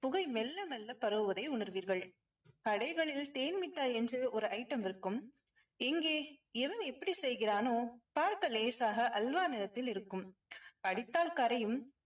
புகை மெல்ல மெல்ல பரவுவதை உணர்வீர்கள். கடைகளில் தேன்மிட்டாய் என்று ஒரு item இருக்கும். எங்கே எவன் எப்படி செய்கிறானோ. பார்க்க லேசாக அல்வா நிறத்தில் இருக்கும். கடித்தால் கரையும்.